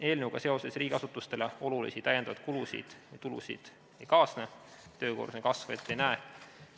Eelnõuga seoses riigiasutustele olulisi kulusid ja tulusid ei kaasne, töökoormuse kasvu me ette ei näe.